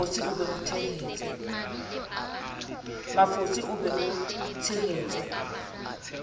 mafosi o be o tshehetse